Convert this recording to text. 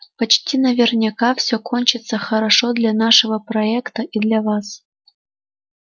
почти наверняка все кончится хорошо для нашего проекта и для вас